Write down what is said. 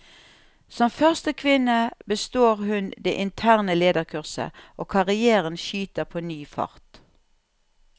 Som første kvinne består hun det interne lederkurset, og karrièren skyter på ny fart.